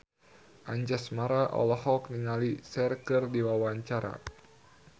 Anjasmara olohok ningali Cher keur diwawancara